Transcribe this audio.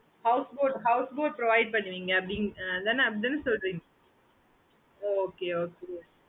okay mam